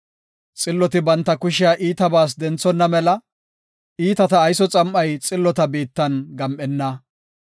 Xilloti banta kushiya iitabas denthonna mela iitata ayso xam7ay xillota biittan gam7enna.